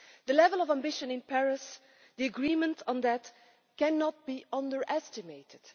The level of ambition shown in Paris, and the agreement on it, cannot be underestimated.